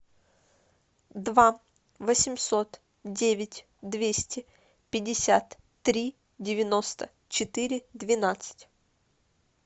два восемьсот девять двести пятьдесят три девяносто четыре двенадцать